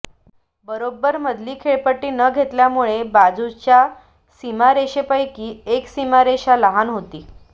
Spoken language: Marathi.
बरोब्बर मधली खेळपट्टी न घेतल्यामुळे बाजूच्या सीमारेषेपैकी एक सीमारेषा लहान होती